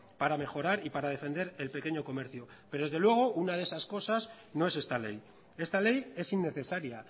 para mejorar y para defender el pequeño comercio pero desde luego una de esas cosas no es esta ley esta ley es innecesaria